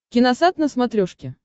киносат на смотрешке